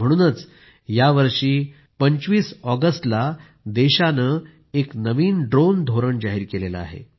म्हणूनच यावर्षी 15 ऑगस्टला देशाने एक नवीन ड्रोन धोरण जाहीर केलं आहे